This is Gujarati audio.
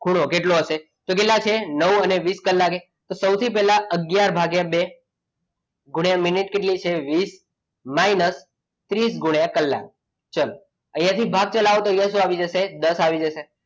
ખૂણો કેટલો હશે તો કેટલા છે નવ અને વીસ કલાકે સૌથી પહેલા અગિયાર ભાગ્યા બે ગુણ્યા મિનિટ કેટલી છે વીસ minus ત્રીસ ગુણ્યા કલાક ચલો અહીંયાથી ભાગ ચલાવો તો અહીંયા શું આવી જશે? દસ આવી જશે.